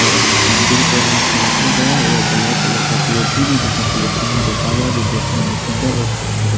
और हम अम्दुर को हाथ में रखा गया है यह ब्लैक कलर का है जिसमें में रोंपा गया है जो देखने में सुन्दर और खूबसूरत--